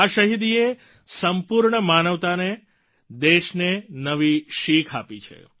આ શહિદીએ સંપૂર્ણ માનવતાને દેશ ને નવી શિખ આપી છે